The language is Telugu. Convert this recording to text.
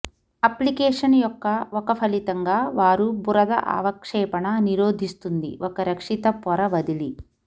అప్లికేషన్ యొక్క ఒక ఫలితంగా వారు బురద అవక్షేపణ నిరోధిస్తుంది ఒక రక్షిత పొర వదిలి